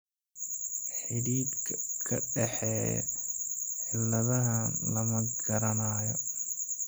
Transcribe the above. Xidhiidhka ka dhexeeya cilladahaan lama garanayo hadda.